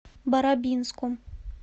барабинском